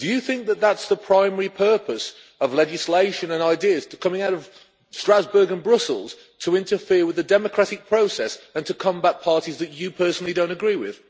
Do you think that is the primary purpose of legislation and ideas coming out of Strasbourg and Brussels to interfere with the democratic process and to combat parties that you personally don't agree with?